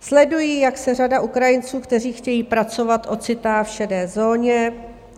Sledují, jak se řada Ukrajinců, kteří chtějí pracovat, ocitá v šedé zóně.